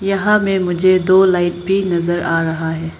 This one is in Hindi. यहां में मुझे दो लाइट भी नजर आ रहा है।